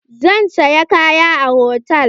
Zan saya kaya a hotal.